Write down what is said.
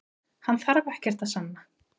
Hann þarf ekkert að sanna